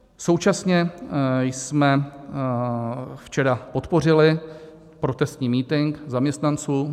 Současně jsme včera podpořili protestní mítink zaměstnanců.